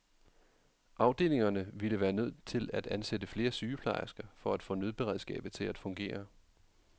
Afdelingerne ville være nødt til at ansætte flere sygeplejersker for at få nødberedskabet til at fungere.